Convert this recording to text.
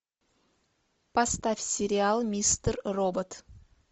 поставь сериал мистер робот